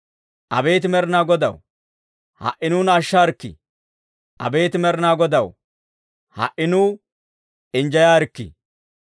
Abeet Med'inaa Godaw, ha"i nuuna ashshaarikkii! Abeet Med'inaa Godaw, ha"i nuw injjeyaarikkii!